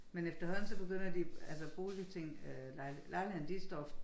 Men efterhånden så begynder de altså boligting øh lejlighederne de står